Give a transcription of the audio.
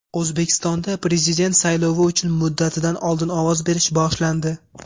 O‘zbekistonda Prezident saylovi uchun muddatidan oldin ovoz berish boshlandi.